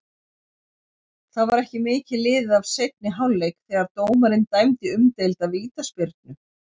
Það var ekki mikið liðið af seinni hálfleik þegar dómarinn dæmdi umdeilda vítaspyrnu.